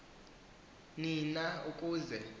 ni na ukuze